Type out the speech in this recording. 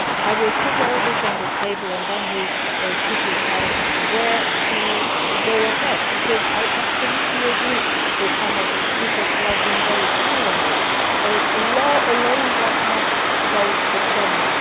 I will put all this on the table and then we should decide how to proceed, because I absolutely agree with some of the speakers, who have been very clear here, that law alone does not solve the problem.